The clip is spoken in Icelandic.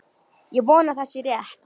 Ég vona að það sé rétt.